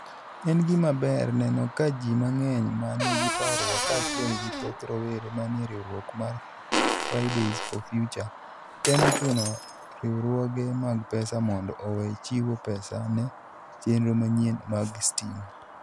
En gima ber neno kaka ji mang'eny ma nigi parruok, kaachiel gi thoth rowere manie riwruok mar Fridays for Future, temo chuno riwruoge mag pesa mondo owe chiwo pesa ne chenro manyien mag stima.